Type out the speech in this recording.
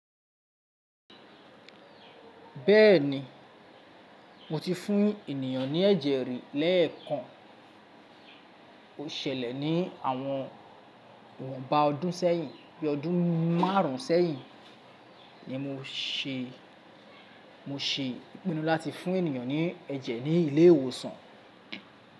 Bẹ́ẹ̀ni, mo ti fún ènìyàn ní ẹ̀jẹ̀ rí lẹ́ẹ̀kan. O ṣẹlẹ̀ ní àwọn ìwọ̀nba ọdún sẹ́yìn. Bí ọdún márùn sẹ́yìn ni mo ṣe, mo ṣe ìpinnu láti fún ènìyàn ní ẹ̀jẹ̀ ní ilé ìwòsàn.